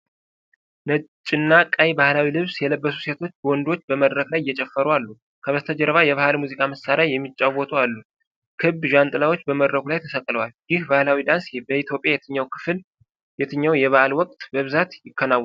ነጭና ቀይ ባህላዊ ልብስ የለበሱ ሴቶችና ወንዶች በመድረክ ላይ እየጨፈሩ አሉ። ከበስተጀርባ የባህል ሙዚቃ መሳሪያ የሚጫወቱ አሉ። ክብ ዣንጥላዎች በመድረኩ ላይ ተሰቅለዋል። ይህ ባህላዊ ዳንስ በኢትዮጵያ በየትኛው የበዓል ወቅት በብዛት ይከናወናል?